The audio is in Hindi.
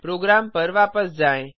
प्रोग्राम पर वापस जाएँ